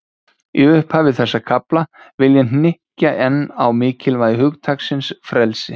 Í upphafi þessa kafla, vil ég hnykkja enn á mikilvægi hugtaksins frelsi.